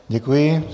Děkuji.